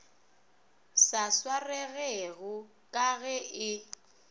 sa swaregego ka ge e